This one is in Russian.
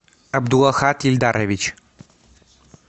абдулахат ильдарович